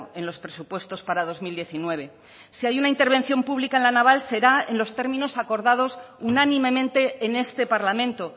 en los presupuestos para dos mil diecinueve si hay una intervención pública en la naval será en los términos acordados unánimemente en este parlamento